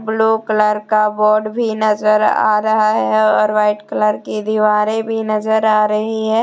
Blue colour का board भी नजर आ रहा है और वाइट कलर की दीवारें भी नजर आ रही है।